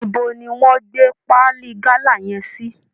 Ibo ni wọ́n gbé paali gálà yẹn sí!